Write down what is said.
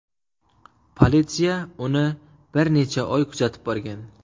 Politsiya uni bir necha oy kuzatib borgan.